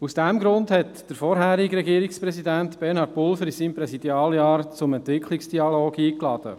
Aus diesem Grund hat der frühere Regierungspräsident Bernhard Pulver in seinem Präsidialjahr zum Entwicklungsdialog eingeladen.